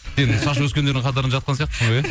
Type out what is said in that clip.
енді шаш өскендердің қатарына жатқан сияқтысың ғой иә